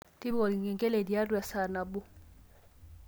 tipika olkengele tiatua esaa nabo